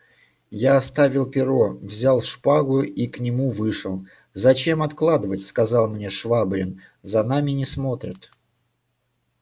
я оставил перо взял шпагу и к нему вышел зачем откладывать сказал мне швабрин за нами не смотрят